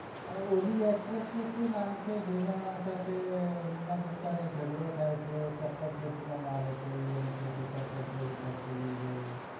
આ ઓલી actress નું શું નામ છે જે ના સાથે નીમા ગુપ્તા નો જગાડો થાય છે ચપ્પલ ફેકી ને મારે છે એને કે છે ચપ્પલ ચોરી કરકે લે ગયી